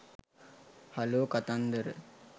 hello කතන්දර